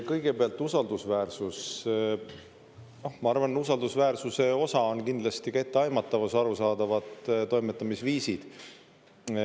Kõigepealt usaldusväärsus – ma arvan, usaldusväärsuse osa on kindlasti ka etteaimatavus ja arusaadavad toimetamisviisid.